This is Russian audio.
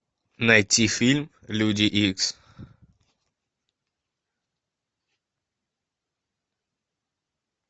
найти фильм люди икс